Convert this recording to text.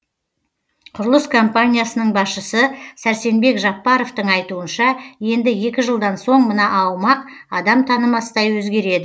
құрылыс компаниясының басшысы сәрсенбек жаппаровтың айтуынша енді екі жылдан соң мына аумақ адам танымастай өзгереді